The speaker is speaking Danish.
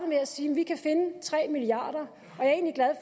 med at sige at de kan finde tre milliarder